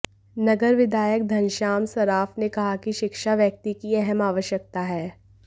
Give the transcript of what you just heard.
नगर विधायक घनश्याम सर्राफ ने कहा कि शिक्षा व्याक्ति की अहम आवश्यकता है